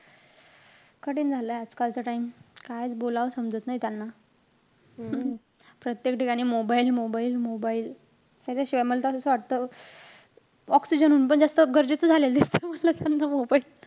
कठीण झालाय आजकालचा time. कायच बोलावं समजत नाई त्यांना. प्रत्येक ठिकाणी mobile-mobile-mobile. त्याच्याशिवाय, मला त असं वाटतं oxygen हुन पण जास्त गरजेचं झालेलंय त्यानं mobile.